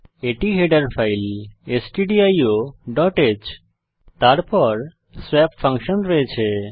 এটি header file stdioহ্ তারপর স্বপ ফাংশন রয়েছে